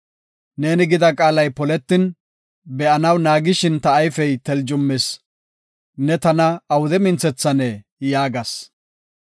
Neeni gida qaalay poletin be7anaw naagishin ta ayfey teljumis. “Ne tana awude minthethane” yaagas.